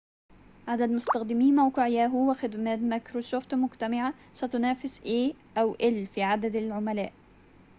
عدد مستخدمي موقع ياهو و خدمات مايكروسوفت مجتمعة ستنافس إيه أو إل في عدد العملاء